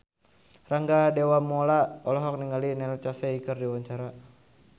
Rangga Dewamoela olohok ningali Neil Casey keur diwawancara